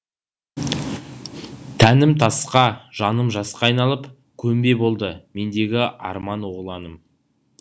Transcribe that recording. тәнім тасқа жаным жасқа айналып көмбе болды мендегі арман оғланым